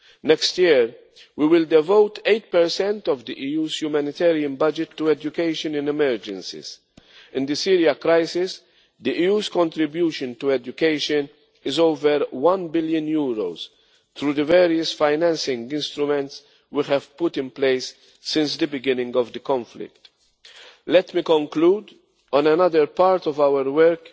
Next year, we will devote 8 of the EU's humanitarian budget to education in emergencies. In the Syria crisis, the EU's contribution to education is over EUR 1 billion, through the various financing instruments we have put in place since the beginning of the conflict. Let me conclude on another part of